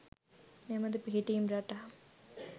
මෙබඳු පිහිටීම් රටා